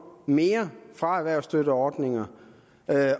mere fra erhvervsstøtteordninger